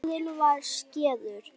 Skaðinn var skeður.